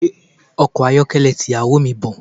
Gbé ọkọ̀ ayọ́kẹ́lẹ́ ti ìyàwó mi bọ̀.